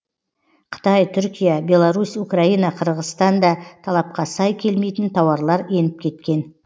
қытай түркия беларусь украина қырғызстаннан да талапқа сай келмейтін тауарлар еніп кеткен